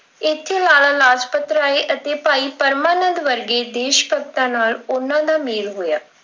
ਇੱਥੇ ਲਾਲਾ ਰਾਜਪਤ ਰਾਏ ਅਤੇ ਭਾਈ ਪਰਮਾ ਨੰਦ ਵਰਗੇ ਦੇਸ਼ ਭਗਤਾਂ ਨਾਲ ਉਹਨਾਂ ਦਾ ਮੇਲ ਹੋਇਆ।